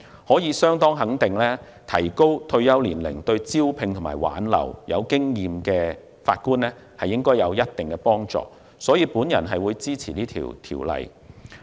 可以相當肯定的是，延展退休年齡對招聘及挽留有經驗的法官應有一定幫助，所以，我支持《條例草案》。